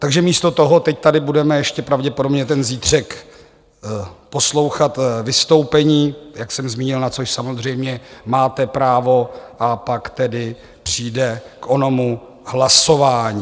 Takže místo toho teď tady budeme ještě pravděpodobně ten zítřek poslouchat vystoupení, jak jsem zmínil, na což samozřejmě máte právo, a pak tedy přijde k onomu hlasování.